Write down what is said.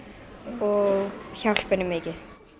og hjálpa henni mikið